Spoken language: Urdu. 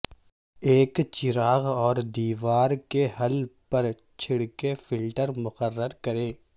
ایک چراغ اور دیوار کے حل پر چھڑکی فلٹر مقرر کریں